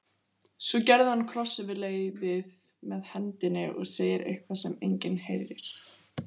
Svo gerir hann kross yfir leiðið með hendinni og segir eitthvað sem enginn heyrir.